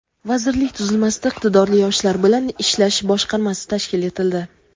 vazirlik tuzilmasida Iqtidorli yoshlar bilan ishlash boshqarmasi tashkil etildi.